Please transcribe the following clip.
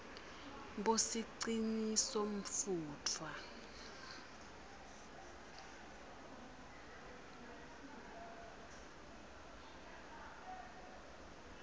bosicinisomfutfwa